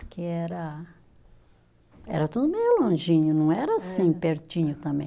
Porque era, era tudo meio longinho, não era assim, pertinho também.